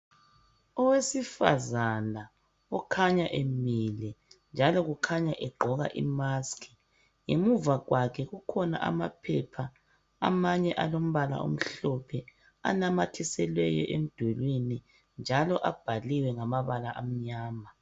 Owesifazana okhanya emile, njalo kukhanya egqoka imaskhi. Ngemva kwakhe kukhona amaphepha, amanye alombala omhlophe, anamathiselweyo emdulwini, njalo abhaliwe ngamabala amnyama.